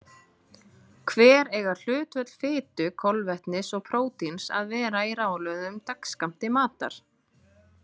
Hver eiga hlutföll fitu, kolvetnis og prótíns að vera í ráðlögðum dagskammti matar?